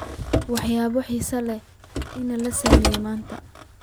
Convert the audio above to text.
waxyaabo xiiso leh in la sameeyo maanta